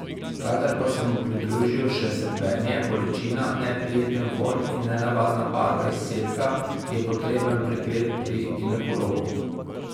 Kadar pa se mu pridružijo še srbenje, bolečina, neprijeten vonj in nenavadna barva izcedka, je potreben pregled pri ginekologu.